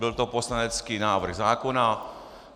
Byl to poslanecký návrh zákona.